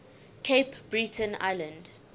cape breton island